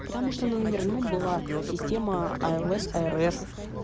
потому что на номерном была система айлес айрес